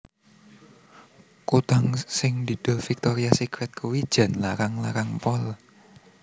Kutang sing didol Victoria Secret kuwi jan larang larang pol